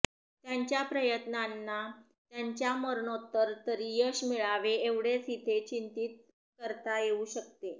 त्यांच्या प्रयत्नांना त्यांच्या मरणोत्तर तरी यश मिळावे एवढेच इथे चिंतीत करता येऊ शकते